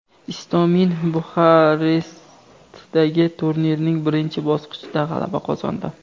Istomin Buxarestdagi turnirning birinchi bosqichida g‘alaba qozondi.